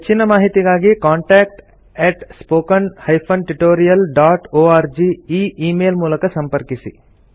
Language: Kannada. ಹೆಚ್ಚಿನ ಮಾಹಿತಿಗಾಗಿ ಕಾಂಟಾಕ್ಟ್ spoken tutorialorg ಈ ಈ ಮೇಲ್ ಮೂಲಕ ಸಂಪರ್ಕಿಸಿ